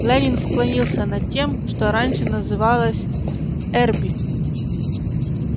лэннинг склонился над тем что раньше называлось эрби